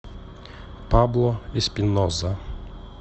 пабло эспиноза